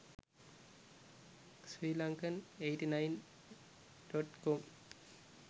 sri lankan 89.com